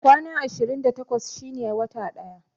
Kwana ashirin da takwas shine wata ɗaya